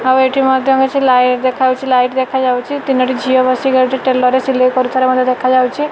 ଆଉ ଏଠି ମଧ୍ୟ କିଛି ଲାଇଟ ଦେଖାଯାଉଚି। ତିନୋଟି ଝିଅ ବସିକି ଏଠି ଟେଲର ରେ ସିଲାଇ କରୁଥିବାର ଦେଖାଯାଇଚି।